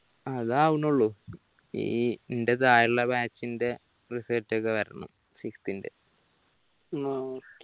അതാവണെള്ളൂ ഈ ഇന്റെ താഴെയുള്ള batch ന്റെ result ഒക്കെ വരണം sixth ന്റെ